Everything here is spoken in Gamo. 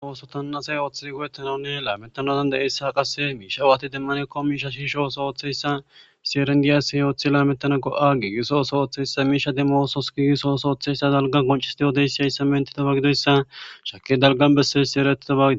Oosotannasey ooththizi go'ettanane laametanatan de'eyssa qase miisha awaati demmanekko miisha shiishooso woththeyssa siyerengiyas yooththi laametana go'a gi gisooso oththeyssa miisha demmoosos giigisoosooththeyssa dalga goncisidiyoodeyssiyayssa mentidoba gidoyssa shake dalgan besseyssi eretito baagido.